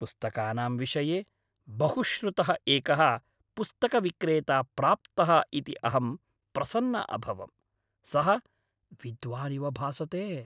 पुस्तकानां विषये बहुश्रुतः एकः पुस्तकविक्रेता प्राप्तः इति अहं प्रसन्ना अभवम्। सः विद्वानिव भासते।